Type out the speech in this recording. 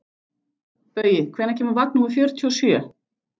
Baui, hvenær kemur vagn númer fjörutíu og sjö?